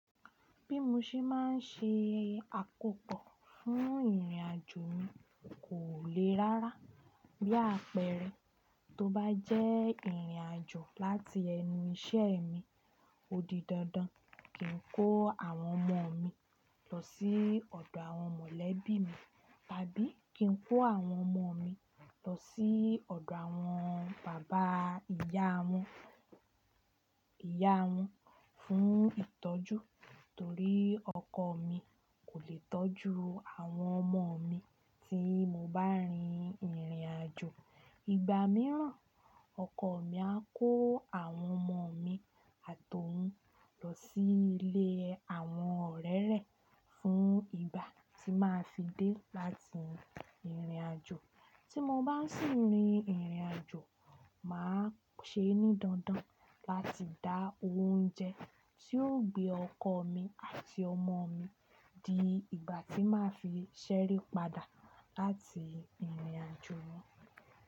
Bí mo ṣe máa ń ṣe àkópọ̀ fún ìrìnàjò mi kò le rárá. Bí àpẹẹrẹ, tó bá jẹ́ ìrìnàjò láti ẹnu iṣẹ́ mi, ó di dandan kí n kó àwọn ọmọ mi lọ sí ọ̀dọ̀ àwọn mọ̀lẹ́bí mi, tàbí kí n kó àwọn ọmọ mi lọ sí ọ̀dọ̀ àwọn bàbá ìyá wọn, ìyá wọn fún ìtọ́jú. Torí ọkọ mi kò le tọ́jú àwọn ọmọ mi tí mo bá rin ìrìnàjò. Ìgbà mìíràn, ọkọ mi á kó àwọn ọmọ mi àtohún lọ sí ilé àwọn ọ̀rẹ́ rẹ̀ fún ìgbà tí màá fi dé láti ìrìnàjò. Tí mo bá sì ń rin ìrìnàjò, màá ṣe ní dandan láti dá oúnjẹ tí yóò gbé ọkọ mi àti ọmọ mi di ìgbà tí màá fi ṣẹri padà láti ìrìnàjò.